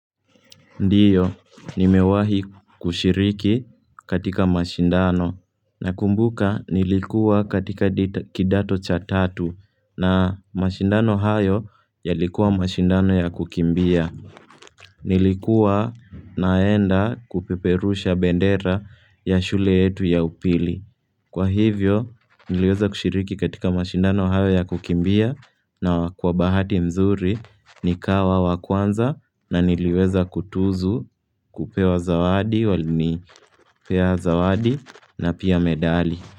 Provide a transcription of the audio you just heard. Ndio, nimewahi kushiriki katika mashindano. Nakumbuka nilikuwa katika kidato cha tatu na mashindano hayo yalikuwa mashindano ya kukimbia. Nilikuwa naenda kupeperusha bendera ya shule yetu ya upili. Kwa hivyo niliweza kushiriki katika mashindano hayo ya kukimbia na kwa bahati nzuri nikawa wa kwanza na niliweza kutuzwa kupewa zawadi, walinipea zawadi na pia medali.